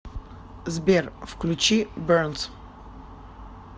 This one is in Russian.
сбер включи бернс